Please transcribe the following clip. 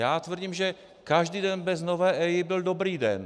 Já tvrdím, že každý den bez nové EIA byl dobrý den.